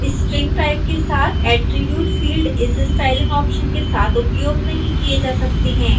string type के साथ attribute field इस स्टाइलिंग ऑप्शन के साथ उपयोग नहीं किए जा सकते हैं